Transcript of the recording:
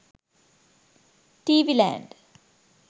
tv land